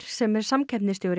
sem er